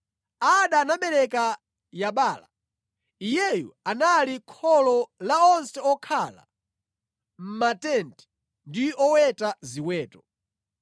Ada anabereka Yabala; iyeyu anali kholo la onse okhala mʼmatenti ndi oweta ziweto.